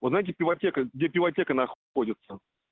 узнайте пивотека где пивотека находится